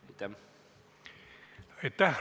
Aitäh!